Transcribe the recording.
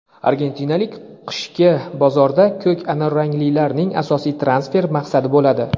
argentinalik qishki bozorda "ko‘k-anorranglilar"ning asosiy transfer maqsadi bo‘ladi.